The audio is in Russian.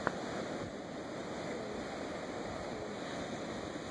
в ютюбе диайвай перек